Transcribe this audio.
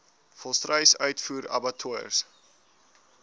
volstruis uitvoer abattoirs